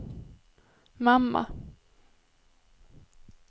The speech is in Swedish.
mamma